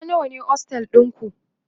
Hawa nawa ne ostel ɗinku?